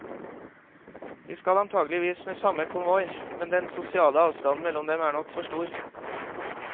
De skal antakeligvis med samme konvoi, men den sosiale avstanden mellom dem er nok for stor.